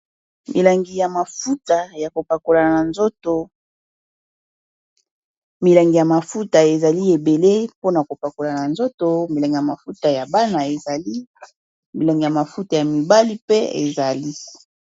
Milengi ya mafuta ezali ebele mpona kopakola na nzoto milangi ya mafuta ya bana ezali milangi ya mafuta ya mibali mpe ezali.